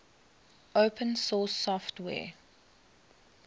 open source software